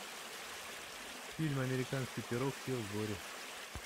фильм американский пирог все в сборе